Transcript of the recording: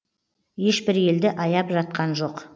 ешбір елді аяп жатқан жоқ